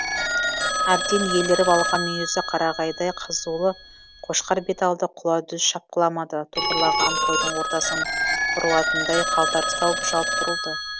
әбден еліріп алған мүйізі қарағайдай қызулы қошқар бет алды құла дүз шапқыламады топырлаған қойдың ортасынан бұрылатындай қалтарыс тауып жалт бұрылды